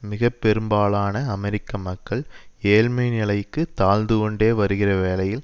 மிக பெரும்பாலான அமெரிக்க மக்கள் ஏழ்மைநிலைக்கு தாழ்ந்துகொண்டே வருகிறவேளையில்